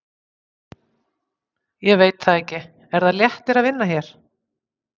Ég veit það ekki Er það léttir að vinna hér?